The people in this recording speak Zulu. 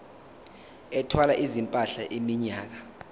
ethwala izimpahla iminyaka